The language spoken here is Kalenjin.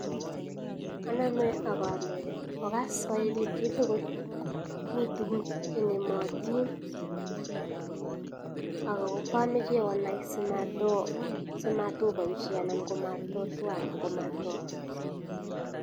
Aname agale okas chito tugul, mi tuguk en ematin ako komache si onai si matobaisye anan ko mato twa.